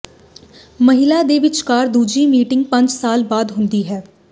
ਮਹਿਲਾ ਦੇ ਵਿਚਕਾਰ ਦੂਜੀ ਮੀਟਿੰਗ ਪੰਜ ਸਾਲ ਬਾਅਦ ਹੁੰਦਾ ਹੈ